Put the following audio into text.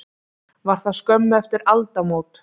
Var það skömmu eftir aldamót.